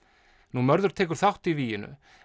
mörður tekur þátt í víginu